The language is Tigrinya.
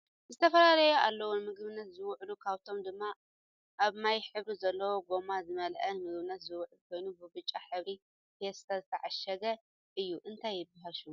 ዝተፈላለዩ ኣለው ንምግብነት ዝውዕሉ ካብኣቶም ድማ ኣብ ማይ ሕብሪ ዘለዎ ጎማ ዝመላኣ ንምግብነት ዝውዕል ኮይኑ ብብጫ ሕብሪ ፋስታ ዝተዓሸገ እዩ እንታይ ይብሃል ሽሙ?